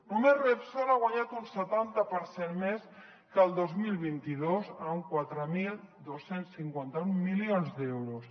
només repsol ha guanyat un setanta per cent més que el dos mil vint dos amb quatre mil dos cents i cinquanta un milions d’euros